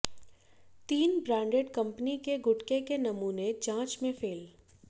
तीन branded company के गुटखे के नमूने जांच में फेल